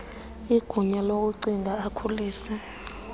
igunya lokugcina akhulise